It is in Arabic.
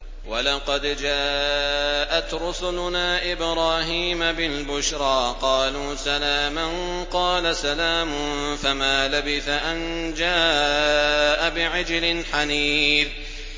وَلَقَدْ جَاءَتْ رُسُلُنَا إِبْرَاهِيمَ بِالْبُشْرَىٰ قَالُوا سَلَامًا ۖ قَالَ سَلَامٌ ۖ فَمَا لَبِثَ أَن جَاءَ بِعِجْلٍ حَنِيذٍ